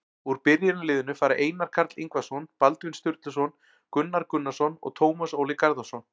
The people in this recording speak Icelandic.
Úr byrjunarliðinu fara Einar Karl Ingvarsson, Baldvin Sturluson, Gunnar Gunnarsson og Tómas Óli Garðarsson.